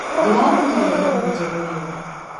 Ndĩragũrire thimũ njerũ iyo